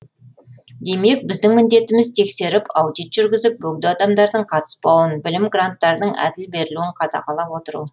демек біздің міндетіміз тексеріп аудит жүргізіп бөгде адамдардың қатыспауын білім гранттарының әділ берілуін қадағалап отыру